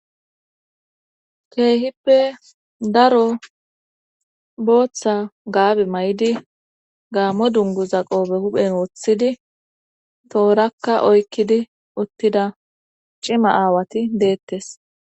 Keehippe daro booththa gaabi may7idi gaammo dungu zaqobe huphen woththidi toorakka oykkidi uttida cima aawati deettes.